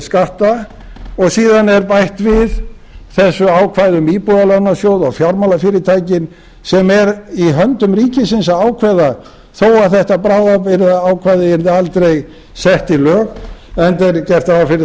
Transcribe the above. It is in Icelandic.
skatta og síðan er bætt við þessu ákvæði um íbúðalánasjóð og fjármálafyrirtækin sem er í höndum ríkisins að ákveða þó að þetta bráðabirgðaákvæði yrði aldrei sett í lög enda er gert ráð fyrir að